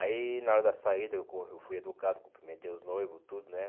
Aí na hora da saída eu corri eu fui educado, cumprimentei os noivos, tudo.